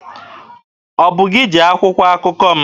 Ọ bụ gị ji akwụkwọ akụkọ m?